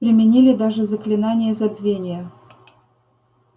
применили даже заклинание забвения